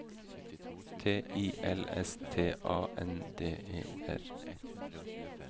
T I L S T A N D E R